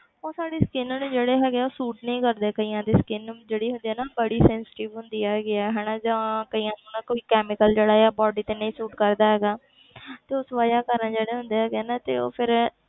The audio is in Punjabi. ਉਹ ਸਾਡੀ skin ਨੂੰ ਜਿਹੜੇ ਹੈਗੇ ਆ ਉਹ suit ਨਹੀਂ ਕਰਦੇ ਕਈਆਂ ਦੇ skin ਜਿਹੜੀ ਹੁੰਦੀ ਆ ਨਾ ਬੜੀ sensitive ਹੁੰਦੀ ਹੈਗੀ ਹੈ ਹਨਾ ਜਾਂ ਕਈਆਂ ਨੂੰ ਨਾ ਕੋਈ chemical ਜਿਹੜਾ ਆ body ਤੇ ਨਹੀਂ suit ਕਰਦਾ ਹੈਗਾ ਤੇ ਉਸ ਵਜ੍ਹਾ ਕਾਰਨ ਜਿਹੜੇ ਹੁੰਦੇ ਹੈਗੇ ਆ ਨਾ ਤੇ ਉਹ ਫਿਰ,